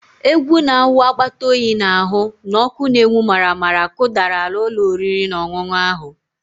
Egwu na-awụ akpata oyi n'ahụ na ọkụ na-enwu maramara kụdara ala ụlọ oriri na ọṅụṅụ ahụ